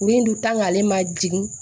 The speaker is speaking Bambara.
Kurun dun ale ma jigin